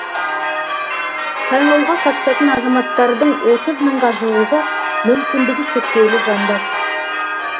сайлауға қатысатын азаматтардың отыз мыңға жуығы мүмкіндігі шектеулі жандар